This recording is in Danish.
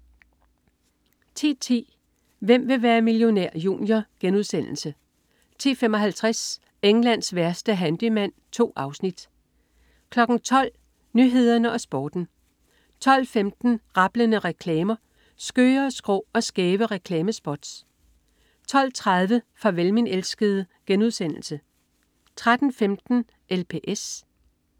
10.10 Hvem vil være millionær? Junior* 10.55 Englands værste handyman. 2 afsnit 12.00 Nyhederne og Sporten 12.15 Rablende reklamer. Skøre, skrå og skæve reklamespots 12.30 Farvel min elskede* 13.15 LPS*